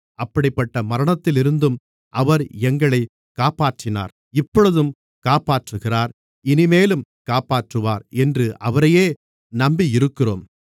அப்படிப்பட்ட மரணத்திலிருந்தும் அவர் எங்களைக் காப்பாற்றினார் இப்பொழுதும் காப்பாற்றுகிறார் இனிமேலும் காப்பாற்றுவார் என்று அவரையே நம்பியிருக்கிறோம்